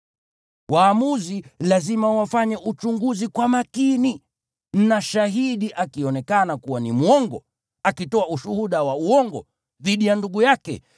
Waamuzi lazima wafanye uchunguzi kwa makini na shahidi akionekana kuwa ni mwongo, akitoa ushuhuda wa uongo dhidi ya ndugu yake,